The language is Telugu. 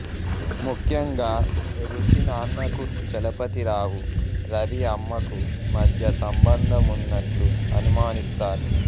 ముఖ్యంగా రుచి నాన్నకూ చలపతి రావు రవి అమ్మకు మధ్య సంబంధం ఉన్నట్లు అనుమానిస్తారు